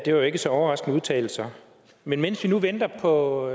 det er jo ikke så overraskende udtalelser men mens vi nu venter på